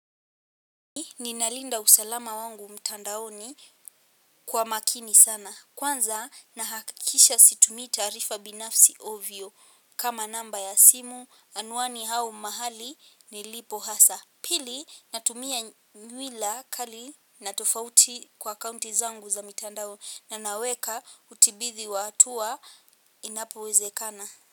Ninalinda usalama wangu mtandaoni kwa makini sana. Kwanza nahakikisha situmii taarifa binafsi ovyo kama namba ya simu anwani au mahali nilipo hasa. Pili natumia nywila kali na tofauti kwa kaunti zangu za mtandaoni. Na naweka utibithi wa hatua inapo wezekana.